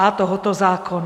a) tohoto zákona.